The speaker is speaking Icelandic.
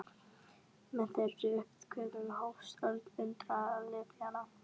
Með þeirri uppgötvun hófst öld undralyfjanna.